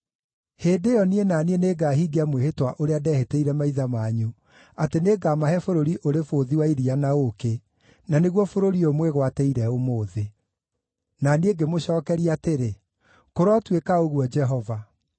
Hĩndĩ ĩyo, niĩ na Niĩ nĩngahingia mwĩhĩtwa ũrĩa ndehĩtĩire maithe manyu, atĩ nĩngamahe bũrũri ũrĩ bũthi wa iria na ũũkĩ,’ na nĩguo bũrũri ũyũ mwĩgwatĩire ũmũthĩ.” Na niĩ ngĩmũcookeria atĩrĩ, “Kũrotuĩka ũguo, Jehova.”